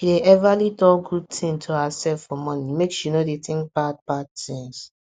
she dey everly talk good thing to herself for morning make she no dey think bad bad things